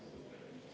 Aitäh, hea ettekandja!